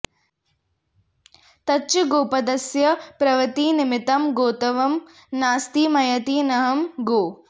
तच्च गोपदस्य प्रवृत्तिनिमित्तं गोत्वं नास्ति मयीति नाऽहं गौः